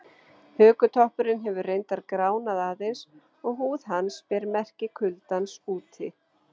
Hökutoppurinn hefur reyndar gránað aðeins og húð hans ber merki kuldans úti.